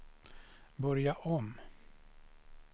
börja om